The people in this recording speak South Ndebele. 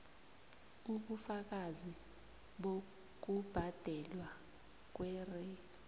ubufakazi bokubhadelwa kwer